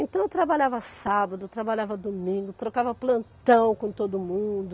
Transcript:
Então eu trabalhava sábado, trabalhava domingo, trocava plantão com todo mundo.